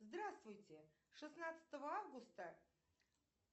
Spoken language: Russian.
здравствуйте шестнадцатого августа